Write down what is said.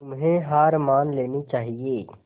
तुम्हें हार मान लेनी चाहियें